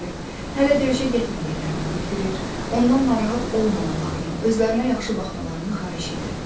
Hələ döyüşə getmədiklərini bildirir, ondan narahat olmamalarını, özlərinə yaxşı baxmalarını xahiş edirdi.